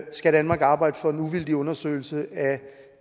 skal danmark arbejde for en uvildig undersøgelse af